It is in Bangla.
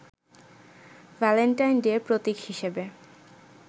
ভ্যালেন্টাইন ডে’র প্রতীক হিসেবে